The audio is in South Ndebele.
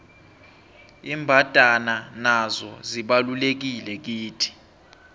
imbandana nazo zibalulekile kithi